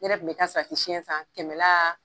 Ne yɛrɛ tun bɛ taa salatisiyɛn san kɛmɛla